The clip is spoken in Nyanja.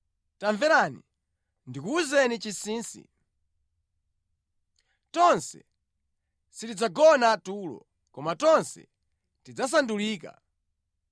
Tamverani, ndikuwuzeni chinsinsi. Tonse sitidzagona tulo, koma tonse tidzasandulika.